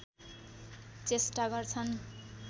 चेष्टा गर्छन्